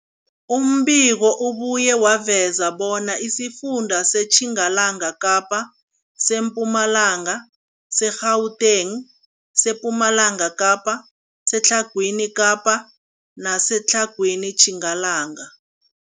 Umbiko ubuye waveza bona isifunda seTjingalanga Kapa, seMpumalanga, seGauteng, sePumalanga Kapa, seTlhagwini Kapa neseTlhagwini Tjingalanga.